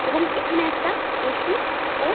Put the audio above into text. এবং এইখানে একটা এ.সি. ও--